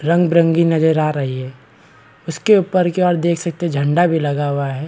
रंग बिरंगी नजर आ रही है उसके ऊपर की ओर देख सकते है झंडा भी लगा हुआ है।